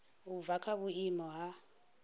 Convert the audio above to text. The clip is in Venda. u bva kha vhuimo ha